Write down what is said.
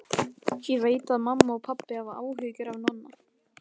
Ég veit að mamma og pabbi hafa áhyggjur af Nonna.